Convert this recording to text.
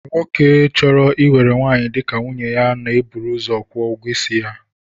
Nwoke chọrọ iwere nwaanyị dịka nwunye na-eburu ụzọ kwụọ ụgwọisi ya